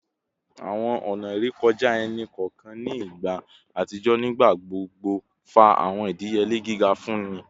Awọn ọna irekọja ẹni kọọkan ni igba atijọ nigbagbogbo fa awọn idiyele giga fun nini